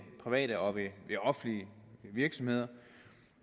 private og offentlige virksomheder